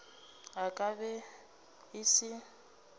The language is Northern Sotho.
e ka be e se